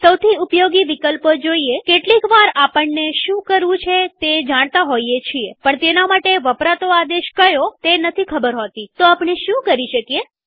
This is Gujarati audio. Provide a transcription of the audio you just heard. સૌથી ઉપયોગી વિકલ્પો જોઈએકેટલીક વાર આપણને શું કરવું છે તે જાણતા હોઈએ છીએ પણ તેના માટે વપરાતો આદેશ કયો તે નથી ખબર હોતીતો આપણે શું કરી શકીએ160